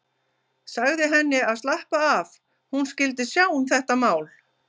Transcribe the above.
Sagði henni að slappa af, hún skyldi sjá um þetta mál.